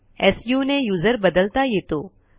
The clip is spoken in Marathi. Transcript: सु ने यूझर बदलता येतो